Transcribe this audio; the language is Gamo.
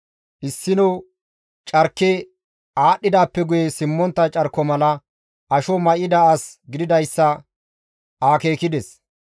Issino carki aadhdhidaappe guye simmontta carko mala asho may7ida as gididayssa akeekides.